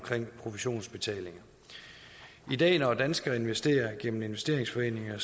provisionsbetaling i dag når danskere investerer gennem investeringsforeninger